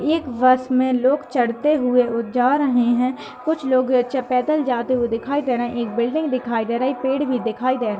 एक बस में लोग चढ़ते हुए उ जा रहे हैं कुछ लोग चे पैडल जाते हुए दिखाइ दे रहे हैं। एक बिल्डिंग दिखाइ दे रहे हैं एक पेड़ भी दिखाय दे रहे --